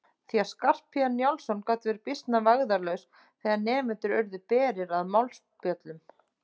Því að Skarphéðinn Njálsson gat verið býsna vægðarlaus þegar nemendur urðu berir að málspjöllum.